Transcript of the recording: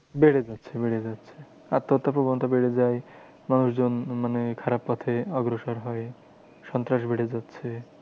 বেড়ে যাচ্ছে বেড়ে যাচ্ছে আত্মহত্যার প্রবণতা বেড়ে যায়। মানুষজন মানে খারাপ পথে অগ্রসর হয়। সন্ত্রাস বেড়ে যাচ্ছে।